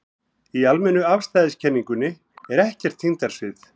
Í almennu afstæðiskenningunni er ekkert þyngdarsvið.